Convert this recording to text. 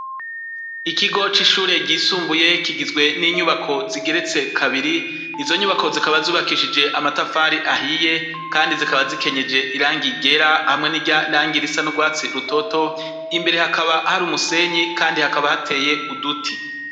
Ikigo c'ishuri ryisumbuye kigizwe n'inyubako zigeretse kabiri izo nyubako zikaba zubakishije amatafari ahiye kandi zikaba zikenyeje irangi ryera hamwe n'irangi ry'uwatsi rutoto imbere hakaba hari umusenyi kandi hakaba hateye uduti.